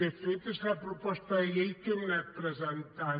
de fet és la proposta de llei que hem anat presentant